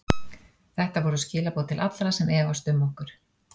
Þetta voru skilaboð til allra sem efast um okkur.